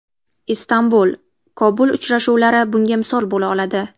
Istanbul, Kobul uchrashuvlari bunga misol bo‘la oladi.